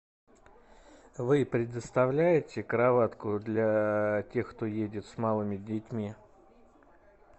вы предоставляете кроватку для тех кто едет с малыми детьми